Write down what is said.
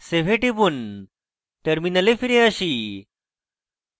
save এ টিপুন terminal ফিরে আসি